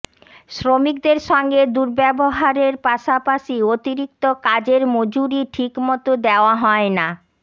শ্রমিকদের সঙ্গে দুর্ব্যবহারের পাশাপাশি অতিরিক্ত কাজের মজুরি ঠিকমতো দেওয়া হয় না